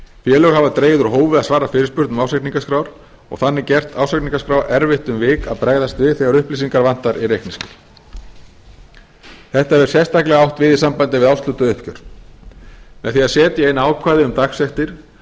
félög hafa dregið úr hófi að svara fyrirspurnum um ársreikningaskrár og þannig gert ársreikningaskrá erfitt um vik að bregðast við þegar upplýsingar vantar í reikningsskil þetta hefur sérstaklega átt við í sambandi við í sambandi við árshlutauppgjör með því að setja inn ákvæði um dagsektir